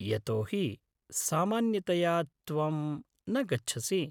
यतो हि, सामान्यतया त्वं न गच्छसि।